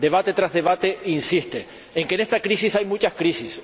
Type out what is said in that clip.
Debate tras debate insiste en que en esta crisis hay muchas crisis.